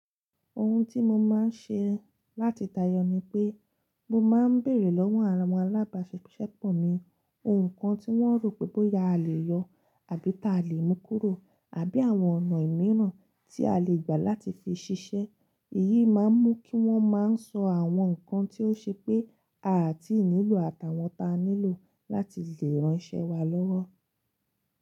Ohun tí mo máa ń ṣe láti tayọ ni pé mo máa ń bèrè lọ́wọ́ àwọn alábàṣepọ̀ mi ohun kan tí wọ́n rò pé bóya a lè yọ àbí ta lè mú kúrò àbí àwọn ọ̀nà mìíràn tí a lè gbà láti fi ṣiṣẹ́. Èyí máa ń mú kí wọ́n máa ń sọ àwọn nǹkan tí ó ṣe pé a ti nílò àtàwọn ta nílò láti lè ránṣẹ́ wa lọ́wọ́.